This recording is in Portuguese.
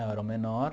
Eu era o menor.